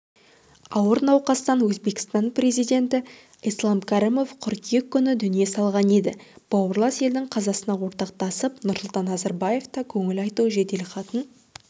ауыр науқастан өзбекстан президенті ислам кәрімов қыркүйек күні дүние салған еді бауырлас елдің қазасына ортақтасып нұрсұлтан назарбаев та көңіл айту жеделхатын